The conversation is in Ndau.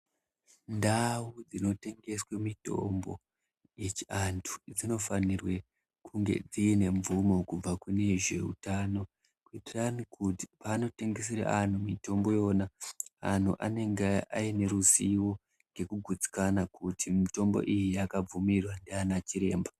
Ndau dzinotengeswa mitombo yechiantu dzinofanira kunge dzine mvumo kubva kuneve zveutano kuitire kuti paanotengesere vantu mitombo antu anenge aine ruzivo nekugutsikana kuti mitombo iyi yakabvumirwa ndiana chiremba.